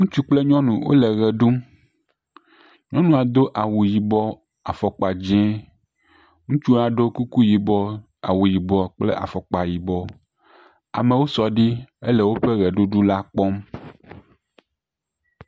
Ŋutsu kple nyɔnu wole ʋe ɖum. Nyɔnua do awu yibɔ, afɔkpa dzɛ̃. Ŋutsu ɖo kuku yibɔ, awu yibɔ kple afɔkpa yibɔ. Amewo sɔ ɖi hele woƒe ʋeɖuɖu la kpɔm.